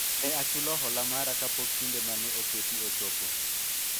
ne achulo hola mara kapok kinde mane oketi ochopo